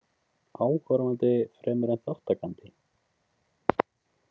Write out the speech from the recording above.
Áhorfandi fremur en þátttakandi?